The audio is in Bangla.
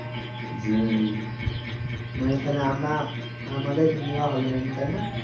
মানে তালে আমরা আমাদের নেওয়া হবে না তাই না